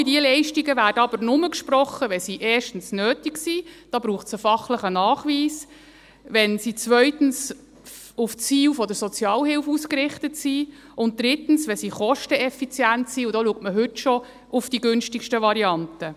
Alle diese Leistungen werden aber nur gesprochen, wenn sie erstens nötig sind – da braucht es einen fachlichen Nachweis –, wenn sie zweitens auf die Ziele der Sozialhilfe ausgerichtet sind, und drittens, wenn sie kosteneffizient sind, und da schaut man heute schon auf die günstigsten Varianten.